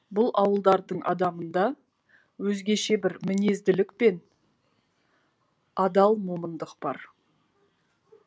бұл ауылдардың адамына өзгеше бір мінезділік пен адал момындық бар